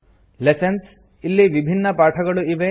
lessons - ಇಲ್ಲಿ ವಿಭಿನ್ನ ಪಾಠಗಳು ಇವೆ